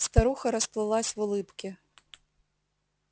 старуха расплылась в улыбке